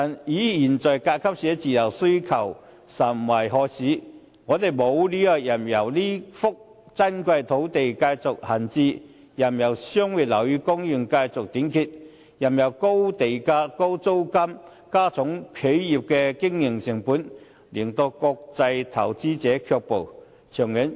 可是，現在甲級寫字樓的需求甚殷，有關方面實在沒理由任由這幅珍貴的土地繼續閒置，任由商業樓宇供應繼續短缺，任由高地價和高租金加重企業的經營成本，令國際投資者卻步。